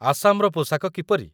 ଆସାମର ପୋଷାକ କିପରି?